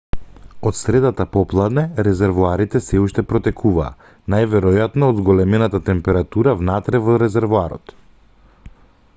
од средата попладне резервоарите сѐ уште протекуваа најверојатно од зголемената температура внатре во резервоарот